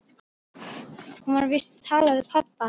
Hún var víst að tala við pabba.